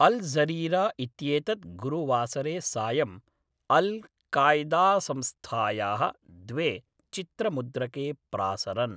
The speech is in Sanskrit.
अल् ज़ज़ीरा इत्येतत् गुरुवासरे सायं अल् काय्दासंस्थायाः द्वे चित्रमुद्रके प्रासरन्।